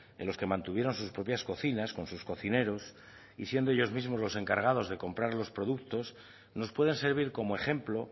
en los que mantuvieron sus propias cocinas con sus cocineros y siendo ellos mismos los encargados de comprar los productos nos pueden servir como ejemplo